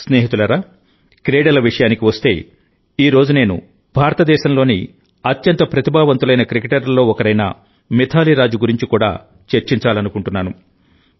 స్నేహితులారాక్రీడల విషయానికి వస్తే ఈ రోజు నేను భారతదేశంలోని అత్యంత ప్రతిభావంతులైన క్రికెటర్లలో ఒకరైన మిథాలీ రాజ్ గురించి కూడా చర్చించాలనుకుంటున్నాను